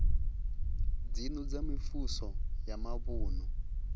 dzinnu dza mivhuso ya mavunu